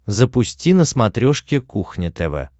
запусти на смотрешке кухня тв